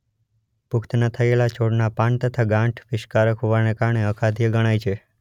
પુખ્ત ન થયેલા છોડનાં પાન તથા ગાંઠ વિષકારક હોવાને કારણે અખાદ્ય ગણાય છે.